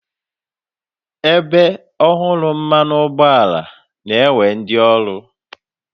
Ebe ọhụrụ mmanụ ụgbọala na-ewe ndị ọrụ.